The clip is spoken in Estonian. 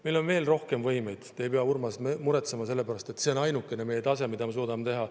Meil on veel rohkem võimeid, te ei pea, Urmas, muretsema selle pärast, kas see ongi meie tase, kõik, mida me suudame teha.